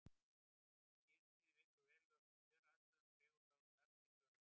Ef sýrustigið víkur verulega frá kjöraðstæðum dregur það úr starfsgetu vöðvanna.